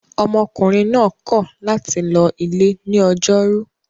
Ọmọkùnrin náà kọ̀ láti lọ ilé ní ọjọ́rú.